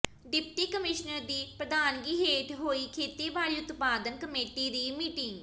deputy commissioner ਦੀ ਪ੍ਰਧਾਨਗੀ ਹੇਠ ਹੋਈ ਖੇਤੀਬਾੜੀ ਉਤਪਾਦਨ ਕਮੇਟੀ ਦੀ ਮੀਟਿੰਗ